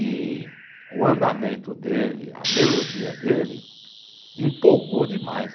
E o andamento dele, a melodia dele, empolgou demais.